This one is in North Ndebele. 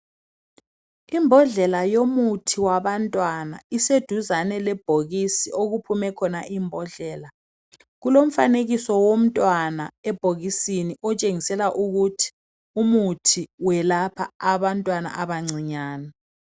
Imbodlela yomuthi wabantwana iseduzane lebhokisi okuphumekhona imbodlela kulomfanekiso womntwana ebhokisini otshengisela ukuthi umuthi welapha abantwana abancinyane